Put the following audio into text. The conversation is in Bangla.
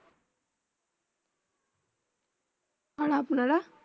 আর আপনারা